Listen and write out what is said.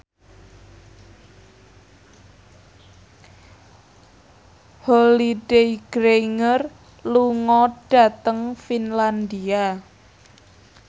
Holliday Grainger lunga dhateng Finlandia